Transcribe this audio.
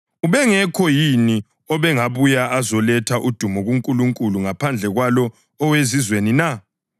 Ubengekho yini obengabuya azoletha udumo kuNkulunkulu ngaphandle kwalo owezizweni na?”